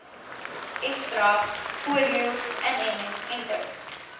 ekstra polio inentings